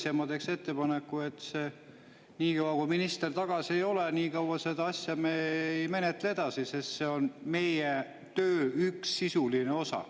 Ja ma teen ettepaneku, et niikaua, kui minister tagasi ei ole, me seda asja edasi ei menetle, sest see on meie töö sisuline osa.